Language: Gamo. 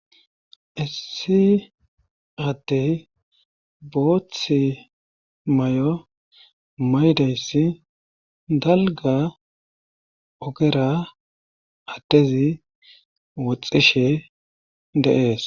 issi attey boothi may7o maydayssi dalga ogera attezi woxxishe de'ees